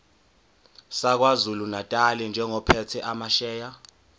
sakwazulunatali njengophethe amasheya